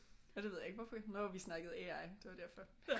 Det ved jeg ikke hvorfor nå vi snakkede AI det var derfor